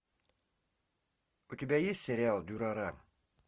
у тебя есть сериал дюрарара